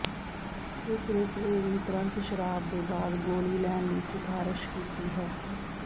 ਇਸ ਵਿਚ ਇਹ ਵੀ ਤੁਰੰਤ ਸ਼ਰਾਬ ਦੇ ਬਾਅਦ ਗੋਲੀ ਲੈਣ ਲਈ ਸਿਫਾਰਸ਼ ਕੀਤੀ ਹੈ